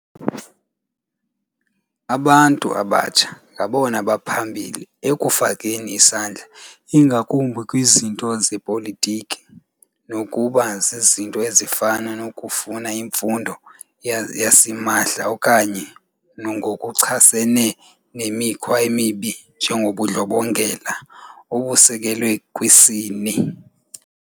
Abantu abatsha ngabona baphambili ekufakeni isandla ingakumbi kwizinto zepolitiki, nokuba zizinto ezifana nokufuna imfundo yasimahla okanye ngokuchasene nemikhwa emibi enjengobundlobongela obusekelwe kwisini.